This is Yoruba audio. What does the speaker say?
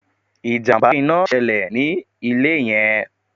Ìjàmbá ina ṣẹlè ní ilé yẹn